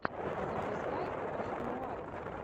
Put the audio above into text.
запускай пост нуар